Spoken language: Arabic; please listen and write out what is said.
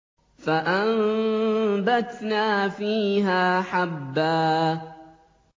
فَأَنبَتْنَا فِيهَا حَبًّا